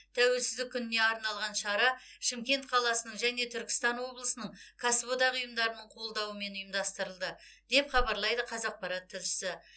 тәуелсіздік күніне арналған шара шымкент қаласының және түркістан облысының кәсіподақ ұйымдарының қолдауымен ұйымдастырылды деп хабарлайды қазақпарат тілшісі